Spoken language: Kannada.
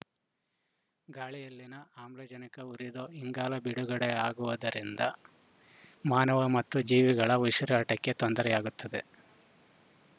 ಗಾಳಿಯಲ್ಲಿನ ಆಮ್ಲಜನಕ ಉರಿದು ಇಂಗಾಲ ಬಿಡುಗಡೆಯಾಗುವುದರಿಂದ ಮಾನವನ ಮತ್ತು ಜೀವಿಗಳ ಉಸಿರಾಟಕ್ಕೆ ತೊಂದರೆಯಾಗುತ್ತದೆ